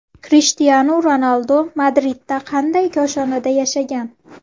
Krishtianu Ronaldu Madridda qanday koshonada yashagan?